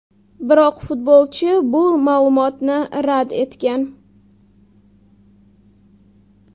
Biroq futbolchi bu ma’lumotni rad etgan.